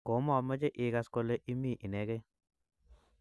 ko mamache igas kole imii inegei